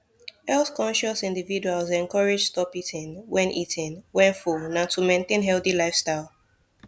healthconscious individuals encouraged stop eating when eating when full nah to maintain healthy lifestyle